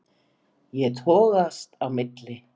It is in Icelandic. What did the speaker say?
Ég togast á milli.